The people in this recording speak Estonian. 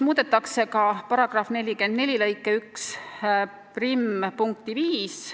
Muudetakse ka § 44 lõike 11 punkti 5.